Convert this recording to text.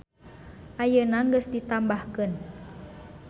Ayeuna geus ditambahkeun.